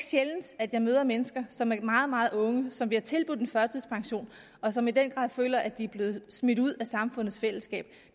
sjældent at jeg møder mennesker som er meget meget unge som bliver tilbudt en førtidspension og som i den grad føler at de er blevet smidt ud af samfundets fællesskab